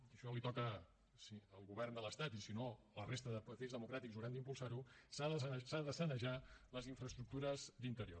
i això li toca al govern de l’estat i si no la resta de partits democràtics hauran d’impulsar ho s’han de sanejar les infraestructures d’interior